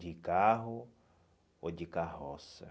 De carro ou de carroça.